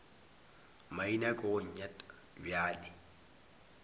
maina ke go nyat bjale